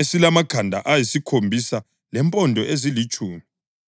esilamakhanda ayisikhombisa lempondo ezilitshumi.